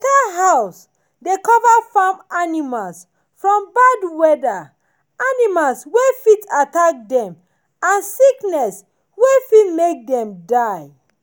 better house dey cover farm animals from bad weather animals wey fit attack dem and sickness wey fit make dem die